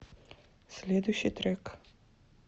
следующий трек